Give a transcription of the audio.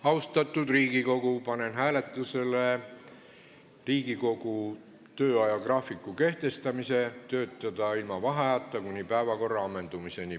Austatud Riigikogu, panen hääletusele Riigikogu töö ajagraafiku kehtestamise: töötada ilma vaheajata kuni päevakorra ammendumiseni.